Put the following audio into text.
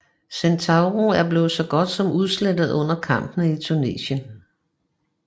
Centauro blev så godt som udslette under kampene i Tunesien